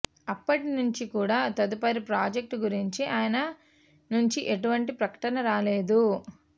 అప్పటి నుంచి కూడా తదుపరి ప్రాజెక్ట్ గురించి అయన నుంచి ఎటువంటి ప్రకటన రాలేదు